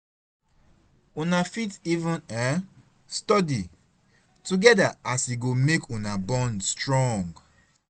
una fit even um study togeda as e go mek una bond strong